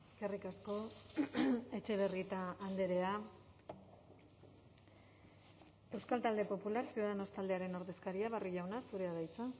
eskerrik asko etxebarrieta andrea euskal talde popular ciudadanos taldearen ordezkaria barrio jauna zurea da hitza